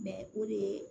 o de ye